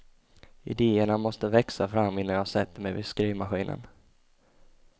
Idéerna måste växa fram innan jag sätter mig vid skrivmaskinen.